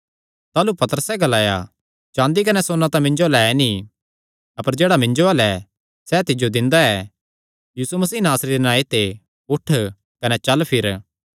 ताह़लू पतरसैं ग्लाया चाँदी कने सोन्ना तां मिन्जो अल्ल ऐ नीं अपर जेह्ड़ा मिन्जो अल्ल ऐ सैह़ तिज्जो दिंदा ऐ यीशु मसीह नासरी दे नांऐ ते उठ कने चल फिर